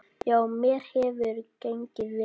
Já, mér hefur gengið vel.